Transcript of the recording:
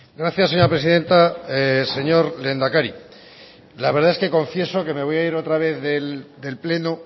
gracias señora presidenta señor lehendakari la verdad es que confieso que me voy a ir otra vez del pleno